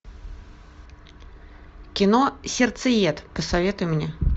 кино сердцеед посоветуй мне